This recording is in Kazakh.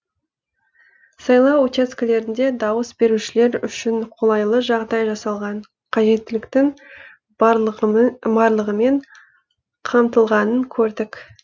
сайлау учаскелерінде дауыс берушілер үшін қолайлы жағдай жасалған қажеттіліктің барлығымен қамтылғанын көрдік